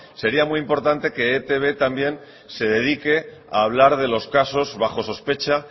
sería muy importante que etb también se dedique a hablar de los casos bajo sospecha